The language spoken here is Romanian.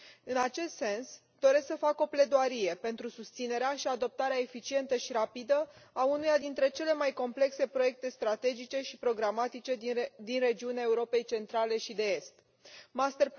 În acest sens, doresc să fac o pledoarie pentru susținerea și adoptarea eficientă și rapidă a unuia dintre cele mai complexe proiecte strategice și programatice din regiunea Europei Centrale și de Est.